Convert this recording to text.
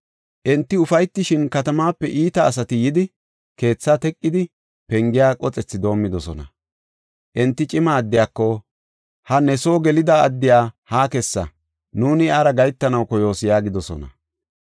Enti ufaytishin, katamaape iita asati yidi, keethaa teqidi, pengiya qoxethi doomidosona. Enti cima addiyako, “Ha ne soo gelida addiya haa kessa; nuuni iyara gahetanaw koyoos” yaagidosona.